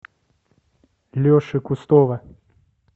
леши кустова